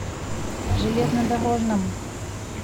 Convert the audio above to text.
железнодорожном